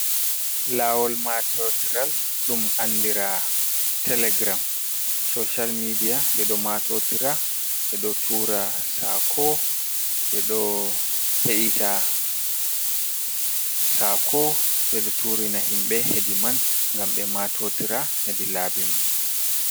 Laawol maatotiral ɗum anndira telegiram soosal miidiya ɓe ɗo maatootira ɓe ɓo tuura ɓe ɗo tuura saako, ɓe ɗo heɗita saako ɓe ɗo turina himɓe hedi man ngam ɓe maatootira hedi laabi man.